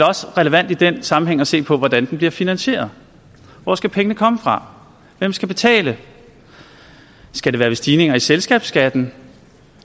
også relevant i den sammenhæng at se på hvordan den bliver finansieret hvor skal pengene komme fra hvem skal betale skal det være ved stigninger i selskabsskatten